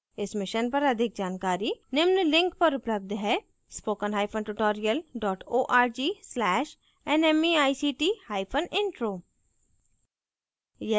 इस mission पर अधिक जानकारी निम्न लिंक पर उपलब्ध है